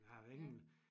Jeg har hverken